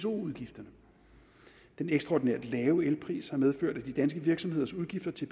udgifterne den ekstraordinært lave elpris har medført at de danske virksomheders udgifter til